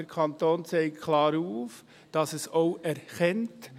Der Kanton zeigt klar auf, dass er es auch erkennt;